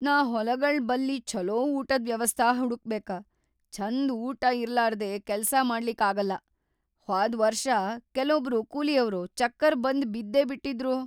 ನಾ ಹೊಲಗೊಳ್‌ ಬಲ್ಲಿ ಛೊಲೋ ಊಟದ್‌ ವ್ಯವಸ್ಥಾ ಹುಡಕ್ಬೇಕ. ಛಂದ ಊಟಾ ಇರ್ಲಾರ್ದೇ ಕೆಲ್ಸಾ ಮಾಡ್ಲಿಕ್‌ ಆಗಲ್ಲಾ, ಹ್ವಾದ್‌ ವರ್ಷ ಕೆಲೊಬ್ರು ಕೂಲಿಯವ್ರು ಚಕ್ಕರ್‌ ಬಂದ್‌ ಬಿದ್ದೇ ಬಿಟ್ಟಿದ್ರು.